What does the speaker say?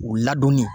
U ladonni